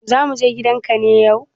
Za mu je gidan ka ne yau?